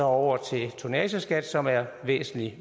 over til tonnageskat som er væsentlig